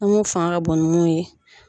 Ne mun fanga ka bon ni mun ye.